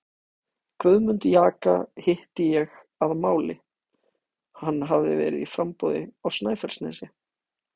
Guðmund jaka hitti ég að máli, hann hafði verið í framboði á Snæfellsnesi.